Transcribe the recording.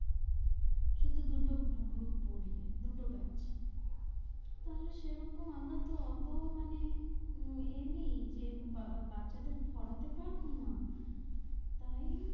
শুধু দুটো group পরিয়ে দুটো batch তাহলে সেরকম আমার তো এত মানে আহ এমনি যে বা~ বাচ্চা দের পড়াতে পারব না তাই